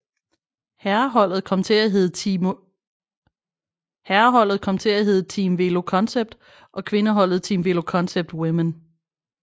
Herreholdet kom til at hedde Team VéloCONCEPT og kvindeholdet Team VéloCONCEPT Women